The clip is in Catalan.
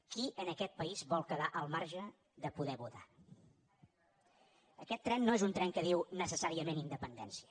qui en aquest país vol quedar al marge de poder votar aquest tren no és un tren que diu necessàriament independència